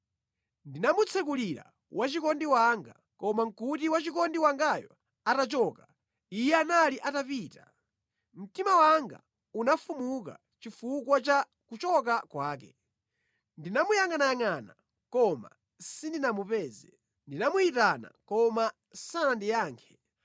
Ndinamutsekulira wachikondi wanga, koma nʼkuti wachikondi wangayo atachoka; iye anali atapita. Mtima wanga unafumuka chifukwa cha kuchoka kwake. Ndinamuyangʼanayangʼana koma sindinamupeze. Ndinamuyitana koma sanandiyankhe.